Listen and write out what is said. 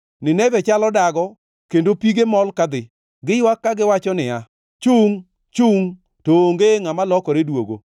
Nineve chalo dago, kendo pige mol kadhi. Giywak kagiwacho niya, “Chungʼ! Chungʼ!” to onge ngʼama lokore duogo.